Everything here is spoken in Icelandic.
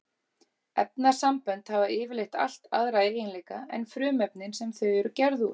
Efnasambönd hafa yfirleitt allt aðra eiginleika en frumefnin sem þau eru gerð úr.